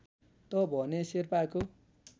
त भने शेर्पाको